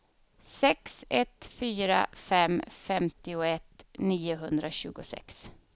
sex ett fyra fem femtioett niohundratjugosex